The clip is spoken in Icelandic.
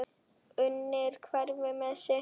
Unir hver með sitt.